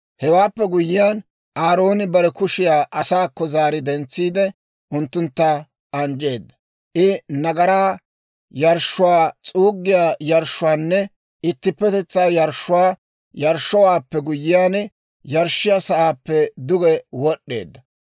Hewaappe guyyiyaan, Aarooni bare kushiyaa asaakko zaari dentsiide unttuntta anjjeedda. I nagaraa yarshshuwaa, s'uuggiyaa yarshshuwaanne ittippetetsaa yarshshuwaa yarshshowaappe guyyiyaan, yarshshiyaa sa'aappe duge wod'eedda.